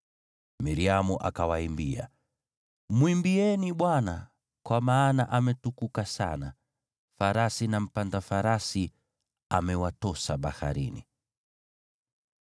Miriamu akawaimbia: “Mwimbieni Bwana , kwa maana ametukuka sana. Farasi na mpanda farasi amewatosa baharini.”